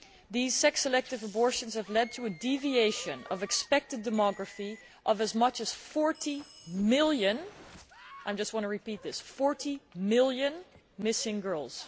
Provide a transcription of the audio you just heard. These sex selective abortions have led to a deviation in expected demography by as much 40 million I just want to repeat this 40 million missing girls.